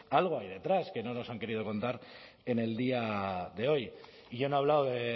algo hay detrás que no nos han querido contar en el día de hoy y yo no he hablado de